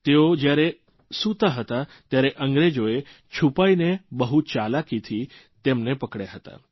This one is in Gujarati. તેઓ જયારે સૂતા હતા ત્યારે અંગ્રેજોએ છુપાઇને બહુ ચાલાકીથી તેમને પકડયા હતા